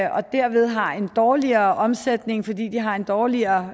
og derved har en dårligere omsætning fordi de har en dårligere